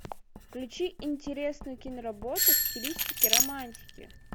включи интересную киноработу в стилистике романтики